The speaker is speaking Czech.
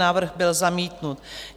Návrh byl zamítnut.